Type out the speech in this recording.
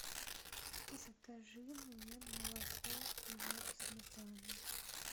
закажи мне молоко хлеб сметану